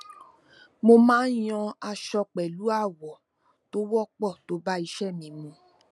mo máa yan aṣọ pẹlú àwọ tó wọpọ tó bá iṣẹ mi mu